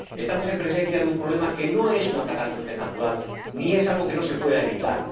Estamos en presencia de un problema que no es una catástrofe natural ni es algo que no se pueda evitar